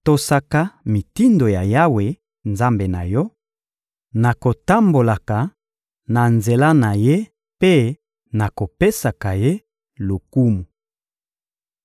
Tosaka mitindo ya Yawe, Nzambe na yo, na kotambolaka na banzela na Ye mpe na kopesaka Ye lokumu.